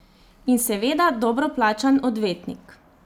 In seveda dobro plačan odvetnik.